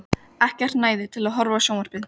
Ekkert næði til að horfa á sjónvarpið.